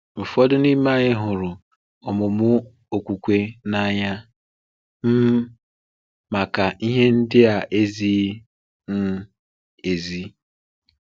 Ụfọdụ n’ime anyị hụrụ ọ̀mụmụ okwukwe n’anya um maka ihe ndị ezighi um ezi.